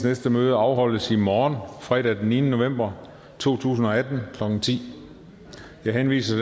næste møde afholdes i morgen fredag den niende november to tusind og atten klokken ti jeg henviser